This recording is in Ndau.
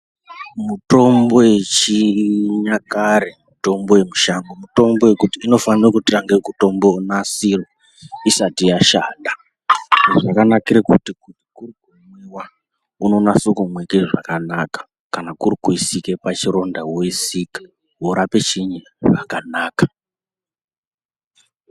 Mitombo yechinyakare mitombo yemushango mitombo yekuti inofanire kutange kutombonasirwa isati yashanda. Izvi zvakanakire kuti kuri kumwiwa unonase kumwike zvakanaka. Kana kuri kuisike pachironda woisika worape chiini zvakanaka.